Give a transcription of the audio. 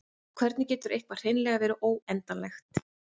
og hvernig getur eitthvað hreinlega verið óendanlegt